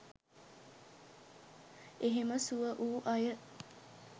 එහෙම සුව වූ අය